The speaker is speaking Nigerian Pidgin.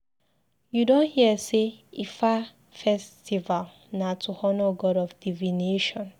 You don hear sey Ifa festival na to honour god of divination?